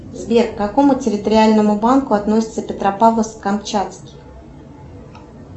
сбер к какому территориальному банку относится петропавловск камчатский